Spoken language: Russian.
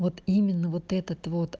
вот именно вот этот вот